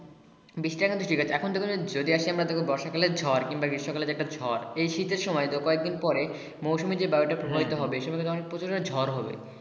এখন বর্ষা কালের ঝড় কিংবা গ্রীষ্ম কালের যে একটা ঝড় এই শীতের সময় কয়দিন পরে মৌসুমী যে বায়ু তা প্রভাবিত হবে কি অনেক প্রকার ঝড় হবে।